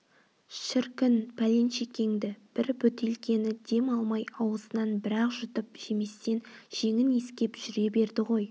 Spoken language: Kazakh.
шіркін пәленшекеңді бір бөтелкені дем алмай аузынан бір-ақ жұтып жеместен жеңін иіскеп жүре берді ғой